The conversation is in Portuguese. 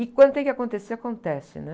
E quando tem que acontecer, acontece, né?